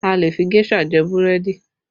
A lè fi géṣà jẹ búrẹ́dì